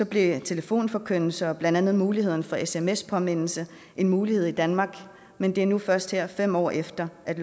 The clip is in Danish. blev telefonforkyndelser og blandt andet muligheden for sms påmindelse en mulighed i danmark men det er nu først her fem år efter at